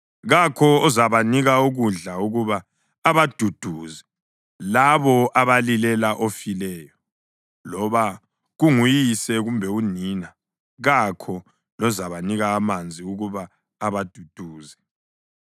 Kakho ozabanika ukudla ukuba abaduduze labo abalilela ofileyo, loba kunguyise kumbe unina, kakho lozabanika amanzi ukuba abaduduze.